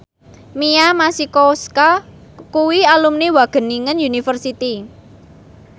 Mia Masikowska kuwi alumni Wageningen University